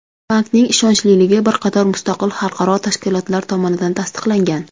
Bankning ishonchliligi bir qator mustaqil xalqaro tashkilotlar tomonidan tasdiqlangan.